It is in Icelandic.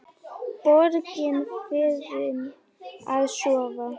Borgin farin að sofa.